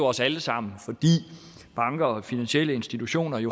os alle sammen fordi banker og finansielle institutioner